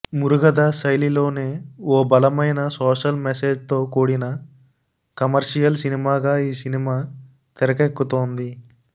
మురుగదాస్ శైలిలోనే ఓ బలమైన సోషల్ మెసేజ్తో కూడిన కమర్షియల్ సినిమాగా ఈ సినిమా తెరకెక్కుతోంది